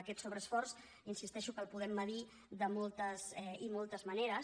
aquest sobreesforç insisteixo que el podem mesurar de moltes i moltes maneres